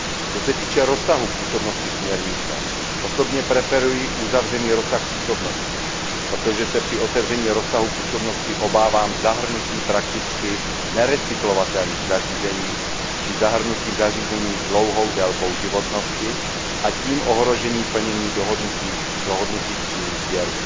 Co se týče rozsahu působnosti směrnice, osobně preferuji uzavřený rozsah působnosti, protože se při otevření rozsahu působnosti obávám zahrnutí prakticky nerecyklovatelných zařízení či zahrnutí zařízení s dlouhou délkou životnosti a tím ohrožení plnění dohodnutých cílů sběru.